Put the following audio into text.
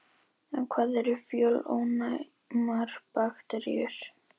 En hvað eru fjölónæmar bakteríur?